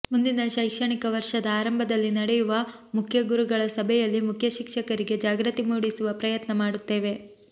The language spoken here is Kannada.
ಮುಂದಿನ ಶೈಕ್ಷಣಿಕ ವರ್ಷದ ಆರಂಭದಲ್ಲಿ ನಡೆಯುವ ಮುಖ್ಯಗುರುಗಳ ಸಭೆಯಲ್ಲಿ ಮುಖ್ಯಶಿಕ್ಷಕರಿಗೆ ಜಾಗೃತಿ ಮೂಡಿಸುವ ಪ್ರಯತ್ನ ಮಾಡುತ್ತೇವೆ